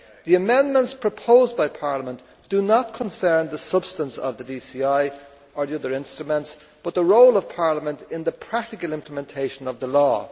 The amendments proposed by Parliament do not concern the substance of the DCI or the other instruments, but the role of Parliament in the practical implementation of the law.